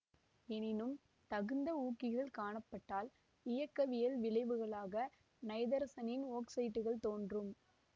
எனினும் தகுந்த ஊக்கிகள் காணப்பட்டால் இயக்கவியல் விளைவுகளாக நைதரசனின் ஒக்சைட்டுகள் தோன்றும்